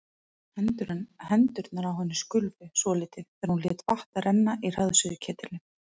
Hendurnar á henni skulfu svolítið þegar hún lét vatn renna í hraðsuðuketilinn.